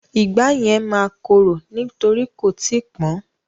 Ìgbá yẹn máa korò nítorí kò tíì pọ́n.